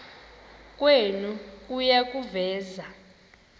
kwenu kuya kuveza